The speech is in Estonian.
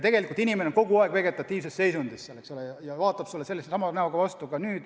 Tegelikult inimene on kogu aeg hooldekodus vegetatiivses seisundis, eks ole, ta vaatab sulle vastu sellesama näoga ka sel aastal.